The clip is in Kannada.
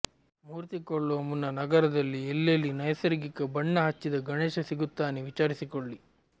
ಮೂರ್ತಿ ಕೊಳ್ಳುವ ಮುನ್ನ ನಗರದಲ್ಲಿ ಎಲ್ಲೆಲ್ಲಿ ನೈಸರ್ಗಿಕ ಬಣ್ಣ ಹಚ್ಚಿದ ಗಣೇಶ ಸಿಗುತ್ತಾನೆ ವಿಚಾರಿಸಿಕೊಳ್ಳಿ